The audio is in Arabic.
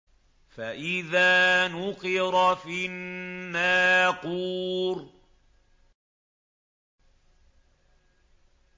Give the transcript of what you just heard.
فَإِذَا نُقِرَ فِي النَّاقُورِ